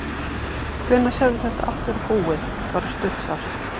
Hvenær sérðu þetta allt vera búið, bara stutt svar?